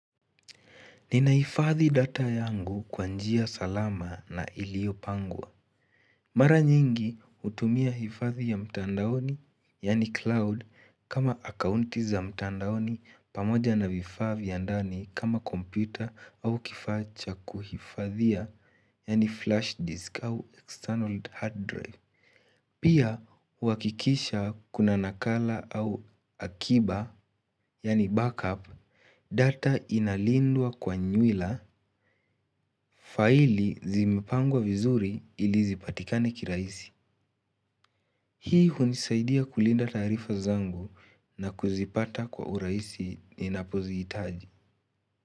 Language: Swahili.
Ninaifadhi data yangu kwa njia salama na ilio pangwa. Mara nyingi hutumia hifadhi ya mtandaoni, yaani cloud, kama accounti za mtandaoni pamoja na vifaa vya ndani kama komputa au kifaa cha kuhifadhia, yaani flash disk au external hard drive. Pia, huakikisha kuna nakala au akiba, yaani backup, data inalindwa kwa nywila, faili zimipangwa vizuri ili zipatikane kirahisi. Hii hunisaidia kulinda taarifa zangu na kuzipata kwa urahisi ninapoziitaji.